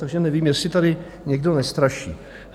Takže nevím, jestli tady někdo nestraší.